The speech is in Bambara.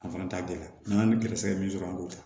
An fana t'a gɛlɛya n'an ye gɛrɛsɛgɛ min sɔrɔ an b'o ta